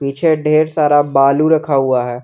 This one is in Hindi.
पीछे ढेर सारा बालू रखा हुआ है।